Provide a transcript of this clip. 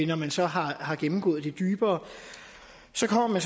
når man så har har gennemgået det dybere så kommer